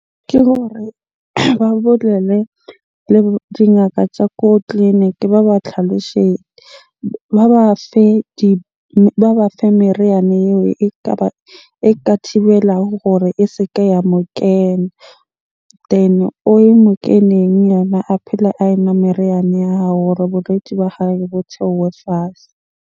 Ke gore ba bolele le dingaka tsa ko tleliniki ba ba tlhalosetje. Ba ba fe ba ba fe meriana eo ekaba, e ka thibelago gore e se ke ya mo kena. Then o ye mo keneng yena, a phele a enwa meriana ya hao hore bolwetsi ba hae bo theohe fatshe.